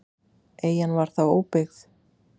Eyjan var þá óbyggð.